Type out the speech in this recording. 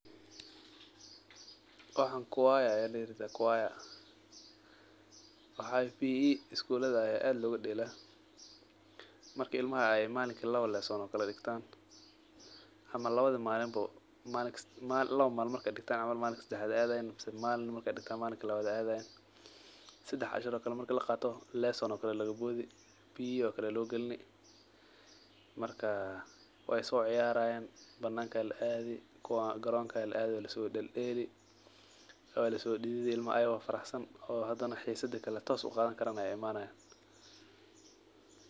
Waxan kuwaya aya kayirahda waxaa waye PE isguladh aya aad loga dela marka ilmaha malinki lawa lesson ee digtan ama lawadhi malin bo malinka sadaxed adhayin mase malin markedigtan malinka kale adhan sedex cashir oo kale marki laqaro lesson aya tano kale laga bodhi PE oo kale aya lo galini marka we sociyarayan bananka aya laadhi kuwa garonka aya laadhi waa laso del deli waa laso didhidi ilmaha ayago faraxsan oo hadana xisadi kale tos uqadhan karan ayey imanayan.